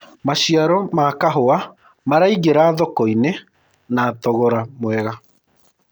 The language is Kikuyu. maciaro ma kahũa maraingira thoko-inĩ na thogora mwega